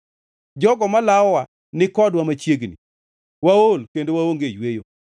Jogo malawowa nikodwa machiegni; waol kendo waonge yweyo.